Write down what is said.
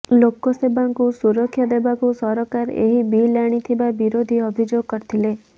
ଲୋକସେବଙ୍କୁ ସୁରକ୍ଷା ଦେବାକୁ ସରକାର ଏହି ବିଲ୍ ଆଣିଥିବା ବିରୋଧୀ ଅଭିଯୋଗ କରିଥିଲେ